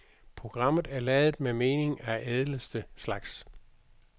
Programmet er ladet med mening af ædleste slags.